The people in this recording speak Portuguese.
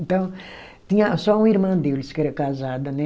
Então, tinha só uma irmã deles que era casada, né?